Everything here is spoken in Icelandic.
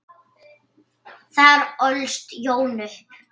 Þar ólst Jón upp.